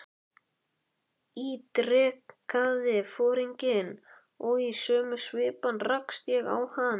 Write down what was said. ítrekaði foringinn og í sömu svipan rakst ég á hann.